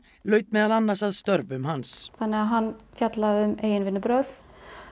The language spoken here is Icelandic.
laut meðal annars að störfum hans þannig að hann fjallaði um eigin vinnubrögð